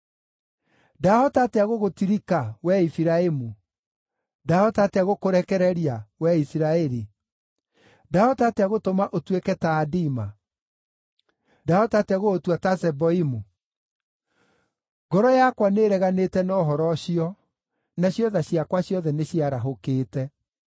“Ndahota atĩa gũgũtirika, wee Efiraimu? Ndahota atĩa gũkũrekereria, wee Isiraeli? Ndahota atĩa gũtũma ũtuĩke ta Adima? Ndahota atĩa gũgũtua ta Zeboimu? Ngoro yakwa nĩĩreganĩte na ũhoro ũcio, nacio tha ciakwa ciothe nĩciarahũkĩte.